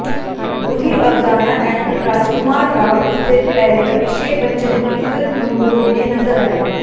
Ruhi Afzana actor Rajkummar Rao इससे पहले अभिषेक बच्चन की फिल्म लूडो में नजर आए